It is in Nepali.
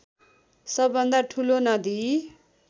सबैभन्दा ठूलो नदी